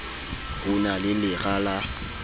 ho na le lera la